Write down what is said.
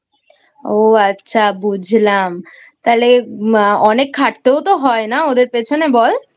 ও আচ্ছা বুঝলাম তাহলে অনেক খাটতেও তো হয় ওদের পিছনে বল?